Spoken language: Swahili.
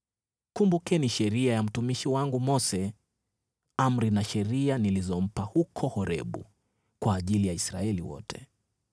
“Kumbukeni sheria ya mtumishi wangu Mose, amri na sheria nilizompa huko Horebu kwa ajili ya Israeli wote.